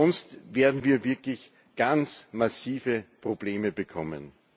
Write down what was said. Sonst werden wir wirklich ganz massive Probleme bekommen.